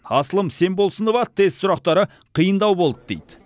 асылым семболсынова тест сұрақтары қиындау болды дейді